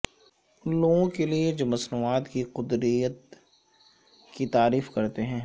ان لوگوں کے لئے جو مصنوعات کی قدرتییت کی تعریف کرتے ہیں